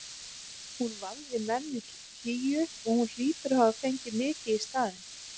Hún vafði menn hlýju og hún hlýtur að hafa fengið mikið í staðinn.